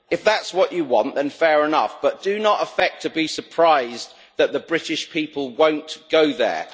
If that's what you want, then fair enough, but do not affect to be surprised that the British people won't go there.